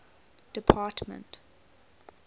department